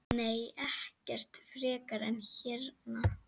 Nei, ekkert frekar en hérna.